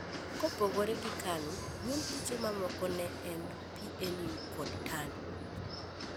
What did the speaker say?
Kopogore gi KANU duond buche mamoko ne en PNU kod TANU